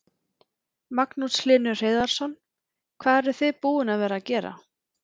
Magnús Hlynur Hreiðarsson: Hvað eruð þið búin að vera gera?